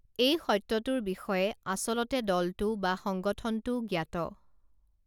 এই সত্যটোৰ বিষয়ে আচলতে দলটো বা সংগঠনটোও জ্ঞাত